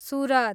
Surat